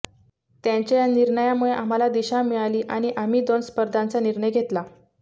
त्यांच्या या निर्णयामुळे आम्हाला दिशा मिळाली आणि आम्ही दोन स्पर्धांचा निर्णय घेतला